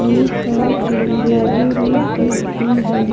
एक कार खड़ी है और एक बस भी हैं ।